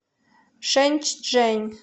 шэньчжэнь